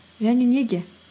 және неге